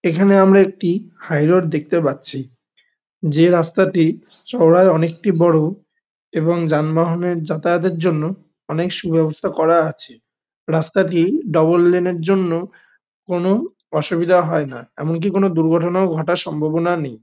এখানে আমরা একটি হাইরোড দেখতে পাচ্ছি। যে রাস্তাটি চওড়ায় অনেকটা বড় এবং যানবাহনের যাতায়াতের জন্যে অনেক সু ব্যবস্থা করা আছে। রাস্তাটি ডাবল লেন -এর জন্যে কোনো অসুবিধা হয় না। এমনকি কোনো দুর্ঘটনাও ঘটার সম্ভাবনা নেই।